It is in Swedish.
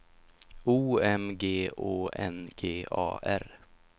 O M G Å N G A R